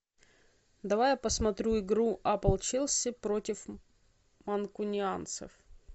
давай я посмотрю игру апл челси против манкунианцев